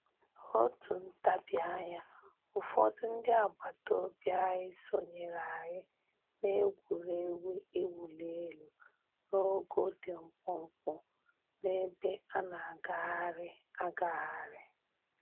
N'otu ntabianya, ụfọdụ ndị agbataobi anyị sonyere anyị n'egwuregwu iwuli elu n'ogo dị mkpụmkpụ n'ebe a na-agagharị agagharị